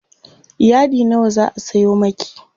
yadi nawa zaa Sayo maki?